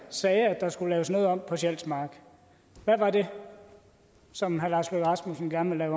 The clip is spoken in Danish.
sagde at der skulle laves noget om på sjælsmark hvad var det som herre lars løkke rasmussen gerne